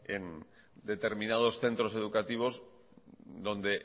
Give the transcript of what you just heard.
en determinados centros educativos donde